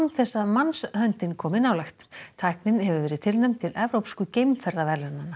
þess að mannshöndin komi nálægt tæknin hefur verið tilnefnd til evrópsku